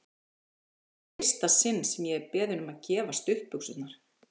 Þetta var í fyrsta sinn sem ég er beðinn um að gefa stuttbuxurnar!